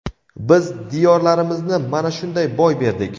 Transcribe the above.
biz diyorlarimizni mana shunday boy berdik.